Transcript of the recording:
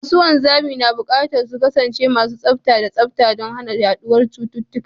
Masu wanzami na buƙatar su kasance masu tsafta da tsafta don hana yaduwar cututtuka.